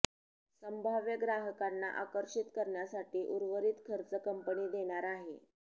संभाव्य ग्राहकांना आकर्षित करण्यासाठी उर्वरित खर्च कंपनी देणार आहे